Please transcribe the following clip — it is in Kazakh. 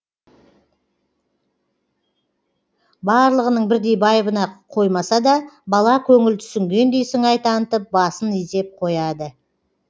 барлығының бірдей байыбына қоймаса да бала көңіл түсінгендей сыңай танытып басын изеп қояды